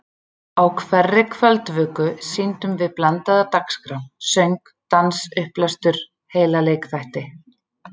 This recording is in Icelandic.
Á hverri kvöldvöku sýndum við blandaða dagskrá: söng, dans, upplestur, heila leikþætti.